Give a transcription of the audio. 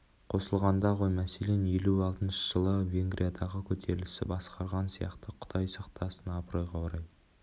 қосылғанда ғой мәселен елу алтыншы жылы венгриядағы көтерілісті басқарған сияқты құдай сақтасын абыройға орай